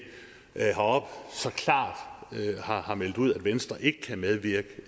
heroppe så klart har har meldt ud at venstre ikke kan medvirke